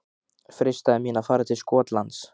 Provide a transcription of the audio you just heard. Freistaði mín að fara til Skotlands?